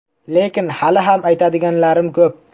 Lekin hali ham aytadiganlarim ko‘p.